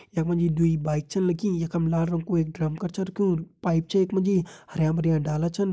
यम्मा जी द्वी बाइक छन लगीं यखम लाल रंग को एक ड्रम कर छ रख्युं पाइप छे यखमा जी हर्या-भर्या डाला छन।